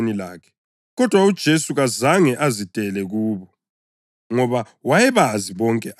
Kodwa uJesu kazange azidele kubo, ngoba wayebazi bonke abantu.